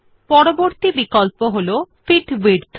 পরবর্তী বিকল্প হল ফিট টো উইডথ